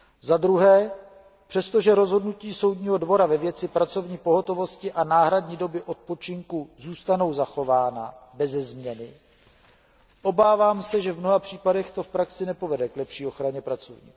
Za druhé přestože rozhodnutí Soudního dvora ve věci pracovní pohotovosti a náhradní doby odpočinku zůstanou zachována beze změny, obávám se, že v mnoha případech to v praxi nepovede k lepší ochraně pracovníků.